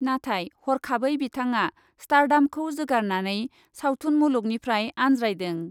नाथाय हरखाबै बिथाङा स्टार्डामखौ जोगारनानै सावथुन मुलुगनिफ्राय आनज्रायदों।